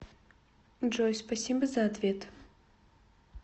джой спасибо за ответ